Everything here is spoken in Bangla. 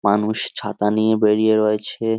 মানুষ ছাতা নিয়ে বেরিয়ে রয়েছে।